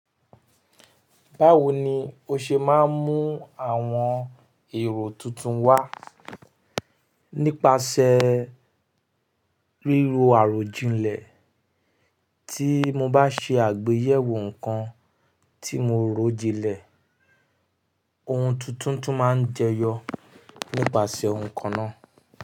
Báwo ni o ṣe máa ń mú àwọn èrò tuntun wá nípasẹ̀ ríro àròjinlẹ̀? Tí mo bá ṣe àgbéyẹ̀wò nǹkan tí mo ròjinlẹ̀, ohun tuntun tún máa jẹyọ nípasẹ̀ ohun kan náà.